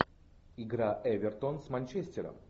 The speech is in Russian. игра эвертон с манчестером